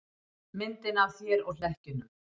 Myndina af þér og hlekkjunum.